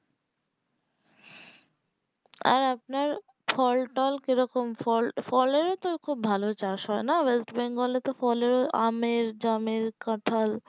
আর আপনার ফল টল কি রকম ফলেও তো খুব ভালো চাষ হয় নাওয়েস্ট বেঙ্গল এ তো ফলে আমের জামের কাঁঠাল এইগুলো খুব ভালো চাষ হয়